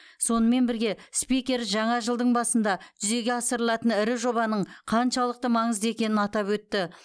сонымен бірге спикер жаңа жылдың басында жүзеге асырылатын ірі жобаның қаншалықты маңызды екенін атап өтті